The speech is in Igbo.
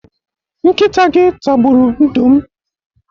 Nkịta gị tagburu ndo m.